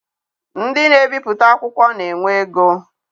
Ndị na ebipụta akwụkwọ na-enwe ego.